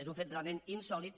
és un fet real·ment insòlit